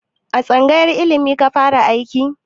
A tsangayar ilimi ka fara aiki?